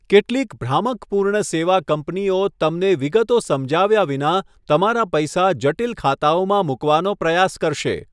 કેટલીક ભ્રામક પૂર્ણ સેવા કંપનીઓ તમને વિગતો સમજાવ્યા વિના તમારા પૈસા જટિલ ખાતાઓમાં મૂકવાનો પ્રયાસ કરશે.